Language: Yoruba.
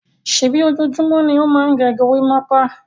Ṣèbí ojoojúmọ́ ni ó máa ń gẹ gorímápá?